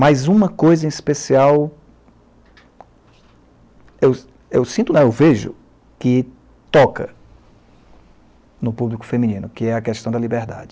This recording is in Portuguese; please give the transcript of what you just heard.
Mais uma coisa em especial, eu eu sinto não, eu vejo que toca no público feminino, que é a questão da liberdade.